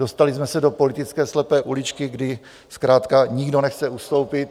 Dostali jsme se do politické slepé uličky, kdy zkrátka nikdo nechce ustoupit.